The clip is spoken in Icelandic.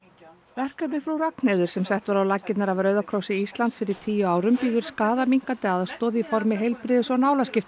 verkefnið Frú Ragnheiður sem sett var á laggirnar af Rauða krossi Íslands fyrir tíu árum býður skaðaminnkandi aðstoð í formi heilbrigðis og